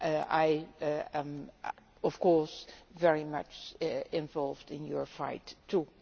I am of course very much involved in your fight too.